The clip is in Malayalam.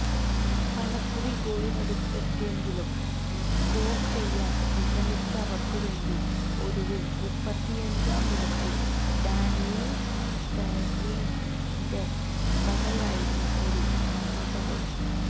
പലകുറി ഗോളിനടുത്തെത്തിയെങ്കിലും സ്കോര് ചെയ്യാന് വിഷമിച്ച അവര്ക്കു വേണ്ടി ഒടുവില് മുപ്പത്തിയഞ്ചാം മിനിറ്റില് ഡാനിയല് സ്റ്ററിഡ്ജിന്റെ വകയായിരുന്നു ഒരു ആശ്വാസഗോള്